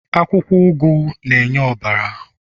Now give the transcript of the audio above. akwukwo ugu na-enye ọbara